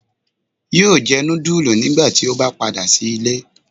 Yóò jẹ nudulú nigbati o ba pada si ile